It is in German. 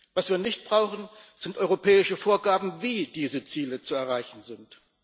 Was wir nicht brauchen, sind europäische Vorgaben, wie diese Ziele zu erreichen sind.